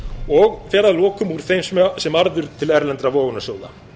og fer að lokum úr þeim sem arður til erlendra vogunarsjóða